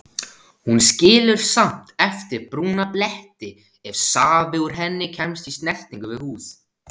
Hún skilur samt eftir brúna bletti ef safi úr henni kemst í snertingu við húð.